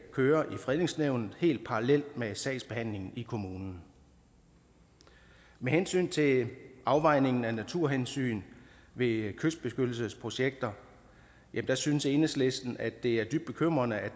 kører i fredningsnævnet helt parallelt med sagsbehandlingen i kommunen med hensyn til afvejningen af naturhensyn ved kystbeskyttelsesprojekter synes enhedslisten at det er dybt bekymrende at